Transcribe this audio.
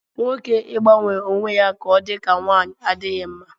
Nwoke ịgbanwe onwe ya ka ọ dị ka nwanyị adịghị mma